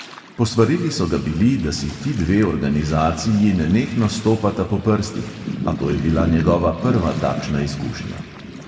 Posvarili so ga bili, da si ti dve organizaciji nenehno stopata po prstih, a to je bila njegova prva takšna izkušnja.